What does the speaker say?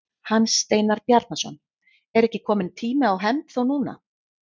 Hans Steinar Bjarnason: Er ekki kominn tími á hefnd þá núna?